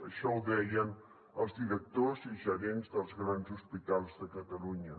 això ho deien els directors i gerents dels grans hospitals de catalunya